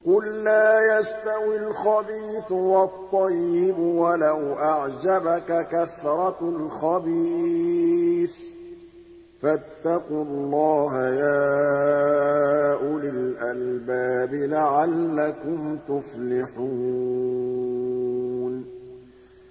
قُل لَّا يَسْتَوِي الْخَبِيثُ وَالطَّيِّبُ وَلَوْ أَعْجَبَكَ كَثْرَةُ الْخَبِيثِ ۚ فَاتَّقُوا اللَّهَ يَا أُولِي الْأَلْبَابِ لَعَلَّكُمْ تُفْلِحُونَ